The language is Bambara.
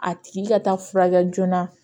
A tigi ka taa furakɛ joona